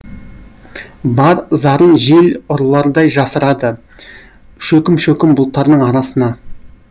бар зарын жел ұрлардай жасырады шөкім шөкім бұлттардың арасына